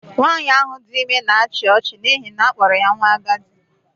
Nwaanyị ahụ dị ime na-achị ọchị n'ihi na a kpọrọ ya nwa agadi.